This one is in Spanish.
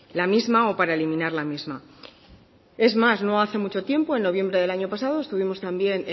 la misma o para eliminar la misma es más no hace mucho tiempo en noviembre del año pasado estuvimos también